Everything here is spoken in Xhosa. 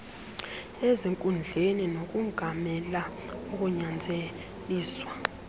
ezinkundleni nokongamela ukunyanzeliswa